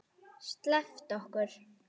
SLEPPTU OKKUR!